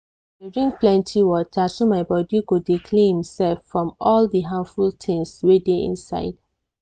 i dey drink plenty water so my body go dey clean imsef from all di harmful things wey dey inside.